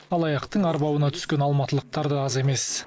алаяқтың арбауына түскен алматылықтар да аз емес